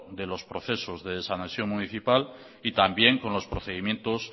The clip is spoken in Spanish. de los procesos de desanexión municipal y también con los procedimientos